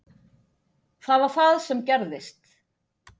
Það var það sem gerðist.